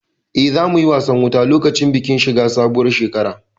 Eh, za mu yi wasan wuta lokacin bikin shiga sabuwar shekara